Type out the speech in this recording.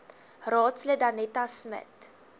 raadslid danetta smit